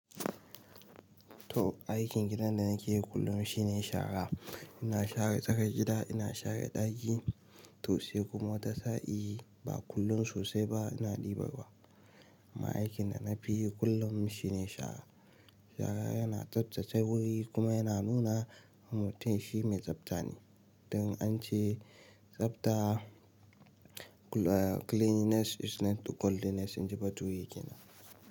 To aikin gidan da nake yi kullum shine shara. Ina share tsakar gida, ina share ɗaki, to sai kuma watasa'i. I, ba kullum sosai ba ina ɗibar ruwa amma aikin da na fi yi kullum shine shara. Shara yana tsaftace wuri kuma yana nuna mutum shi mai tsafta ne. Don ance tsafta, cleanliness is next to godliness inji bature kenan.